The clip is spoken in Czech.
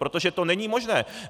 Protože to není možné.